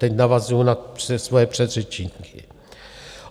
Teď navazuji na svoje předřečníky.